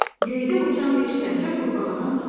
Göydə uçan bir sərçə qurbağadan soruşdu: